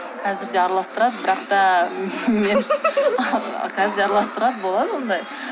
қазір де араластырады бірақ та мен қазір де араластырады болады ондай